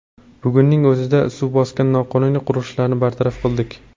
Bugunning o‘zida suv bosgan noqonuniy qurilishlarni bartaraf qildik.